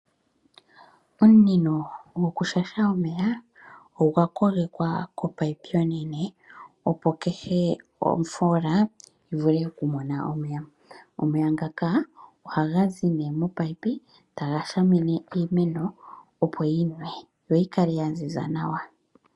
Omunino gwokushasha omeya ogwa kogekwa komunino omunene opo kehe ofoola yivule okumona omeya. Omeya ngaka ohagazi momunino taga shamine iimeno opo yinwe yoyikale yaziza nawa.